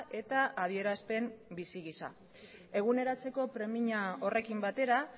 eta adierazpen bizi gisa eguneratzeko premia horrekin batera